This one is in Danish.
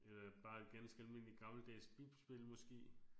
Øh bare et ganske almindeligt gammeldags bipspil måske